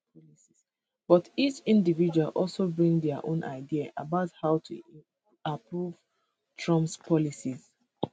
but each individual also bring dia own ideas about how to approve trump policies